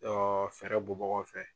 fɛɛrɛ bɔbagaw fɛ.